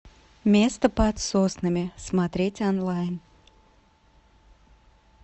место под соснами смотреть онлайн